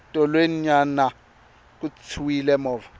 tolweni nyana ku tshwile movha